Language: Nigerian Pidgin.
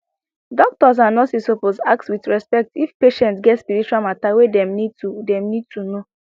doctors and nurses suppose ask with respect if patient get spiritual matter wey dem need to dem need to know